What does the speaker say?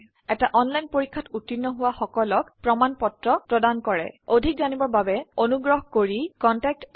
এটা অনলাইন পৰীক্ষাত উত্তীৰ্ণ হোৱা সকলক প্ৰমাণ পত্ৰ প্ৰদান কৰে অধিক জানিবৰ বাবে অনুগ্ৰহ কৰি contactspoken tutorialorg এই ঠিকনাত লিখক